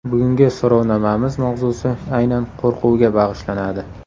Bugungi so‘rovnomamiz mavzusi aynan qo‘rquvga bag‘ishlanadi.